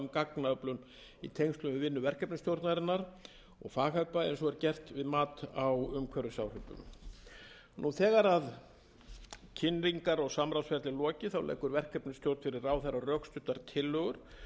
um gagnaöflun í tengslum við vinnu verkefnisstjórnarinnar og fagaðila eins og er gert við mat á umhverfisáhrifum þegar kynningar og samráðsferli er lokið leggur verkefnisstjórn fyrir ráðherra rökstuddar tillögur um